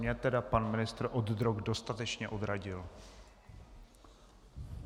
Mě tedy pan ministr od drog dostatečně odradil.